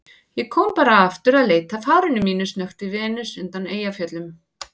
Ég kom bara aftur að leita að hárinu mínu, snökti Venus undan Eyjafjöllum.